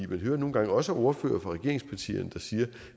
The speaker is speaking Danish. man hører nogle gange også ordførere fra regeringspartierne der siger